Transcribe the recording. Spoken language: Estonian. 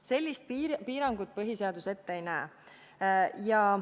Sellist piirangut põhiseadus ette ei näe.